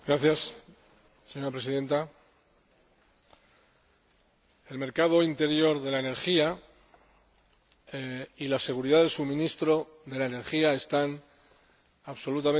Señora Presidenta, el mercado interior de la energía y la seguridad del suministro de energía están absolutamente vinculados.